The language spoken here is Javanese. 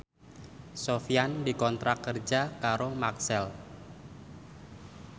Sofyan dikontrak kerja karo Maxell